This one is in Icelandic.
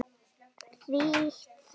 Þýtt þannig